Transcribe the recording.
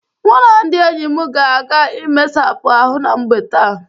Mụ na ndị enyi m ga-aga imesapụ ahụ na mgbe taa.